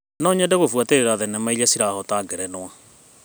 No nyende gũbuatĩrĩra thenema irĩa cirahota ngerenwa.